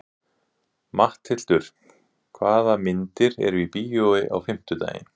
Matthildur, hvaða myndir eru í bíó á fimmtudaginn?